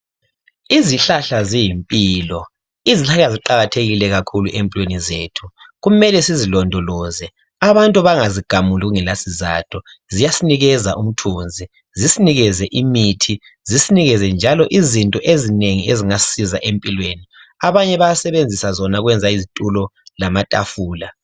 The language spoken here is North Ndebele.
Izihlahla ziyimpilo, izihlahla ziqakathekile kakhulu empilweni zethu kumele sizilondoloze abantu bangazigamuli kungela sizatho. Ziyasinikeza umthunzi, zisinekeze imithi, zisinekeze njalo izinto ezinengi esingazisebenzisa empilweni. Abanye bayasebenzisa zona ukwenza izitulo lamatafula.